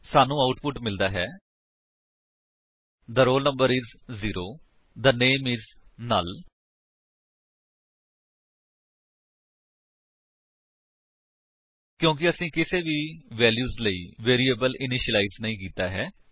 ਸਾਨੂੰ ਆਉਟਪੁਟ ਮਿਲਦਾ ਹੈ the roll number is 0 the name is null ਕਿਉਂਕਿ ਅਸੀਂ ਕਿਸੇ ਵੀ ਵੈਲਿਊ ਲਈ ਵੇਰਿਏਬਲ ਇਨੀਸ਼ਿਲਾਇਜ ਨਹੀਂ ਕੀਤਾ ਹੈ